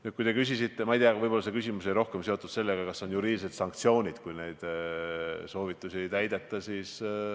Ma ei tea, võib-olla oli see küsimus seotud rohkem sellega, kas on ette nähtud juriidilised sanktsioonid juhuks, kui neid soovitusi ei täideta.